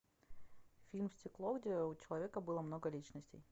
фильм стекло где у человека было много личностей